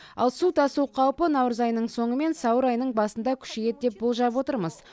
ал су тасу қаупі наурыз айының соңы мен сәуір айының басында күшейеді деп болжап отырмыз